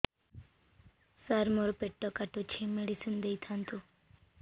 ସାର ମୋର ପେଟ କାଟୁଚି ମେଡିସିନ ଦିଆଉନ୍ତୁ